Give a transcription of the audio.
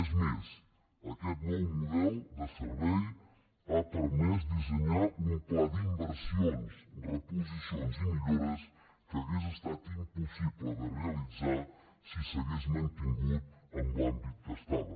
és més aquest nou model de servei ha permès dissenyar un pla d’inversions reposicions i millores que hauria estat impossible de realitzar si s’hagués mantingut en l’àmbit que estava